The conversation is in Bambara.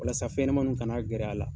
Walasa fɛn ɲɛnɛmaninw kana gɛrɛ a la